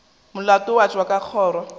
molato wa tšwa ka kgoro